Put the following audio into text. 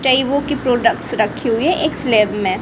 कई वो के प्रोडक्ट्स रखे हुए एक स्लैब में--